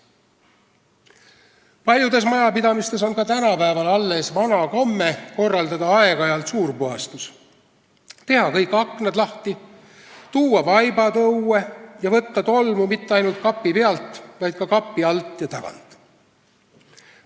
Paljudes majapidamistes on ka tänapäeval alles vana komme korraldada aeg-ajalt suurpuhastus, teha kõik aknad lahti, tuua vaibad õue ja võtta tolmu mitte ainult kapi pealt, vaid ka kapi alt ja tagant.